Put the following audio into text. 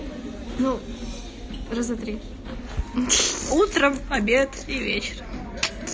ну раз два три утром обед и вечер